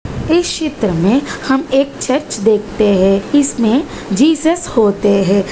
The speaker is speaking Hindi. इस चित्र में हम एक चर्च देखते हैं। इसमें जीसस होते हैं।